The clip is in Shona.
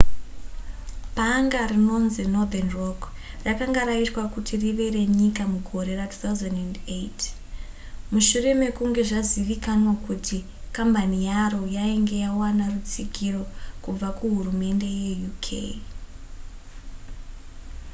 bhanga rinonzi northern rock rakanga raitwa kuti rive renyika mugore ra2008 mushure mekunge zvazivikanwa kuti kambani yaro yainge yawana rutsigiro kubva kuhurumende yekuuk